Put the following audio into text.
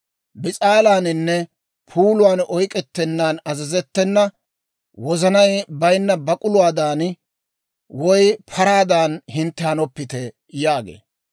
Bis'aalaaninne puuluwaan oyk'k'ettennan azazettena, wozanay bayinna bak'uluwaadan woy paraadan hintte hanoppite» yaagee.